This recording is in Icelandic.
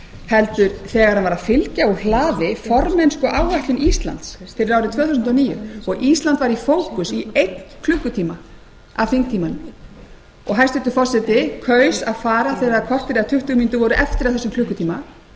heldur þegar hann var að fylgja úr hlaði formennskuáætlun íslands fyrir árið tvö þúsund og níu og ísland var í fókus í einn klukkutíma af þingtímanum og hæstvirtur forsætisráðherra kaus að fara þegar korter eða tuttugu mínútur voru eftir af þessum